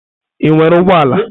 Ị nwere ụgbọ ala?